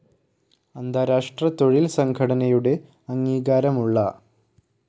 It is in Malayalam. അന്താരാഷ്ട്ര തൊഴിൽ സംഘടനയുടെ അംഗീകാരമുള്ള